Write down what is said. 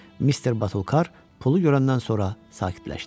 Mister Batulkar pulu görəndən sonra sakitləşdi.